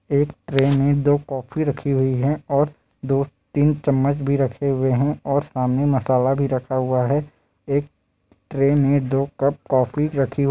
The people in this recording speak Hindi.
एक ट्रे में दो कॉफी रखी हुई है और दो-तीन चम्मच भी रखे हुए हैं और सामने मसाला भी रखा हुआ हैं एक ट्रे में दो कप कॉफ़ी रखी--